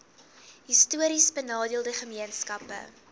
histories benadeelde gemeenskappe